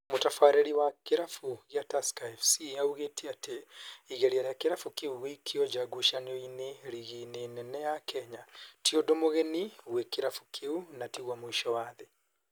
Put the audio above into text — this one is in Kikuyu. Mũtabarĩri wa kĩrabu gĩa Tusker FC augĩte atĩ igeria rĩa kĩrabu kĩu gũikio nja ngucanio-inĩ rigi-inĩ nene ya Kenya ti ũndũ mũgeni gwĩ kĩrabu kĩu na tiguo mũico wa thĩ